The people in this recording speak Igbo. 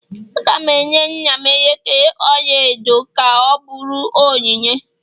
Aga m enye nna m elekere ọla edo ka ọ bụrụ onyinye